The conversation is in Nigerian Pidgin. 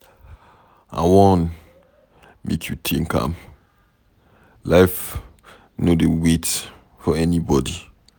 I wan make you think am, life no dey wait for anybody.